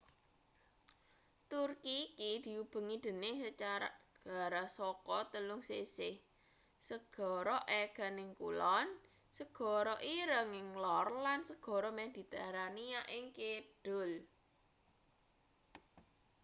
turki iku diubengi dening segara saka telung sisih segara aegan ing kulon segara ireng ing lor lan segara mediterania ing kidul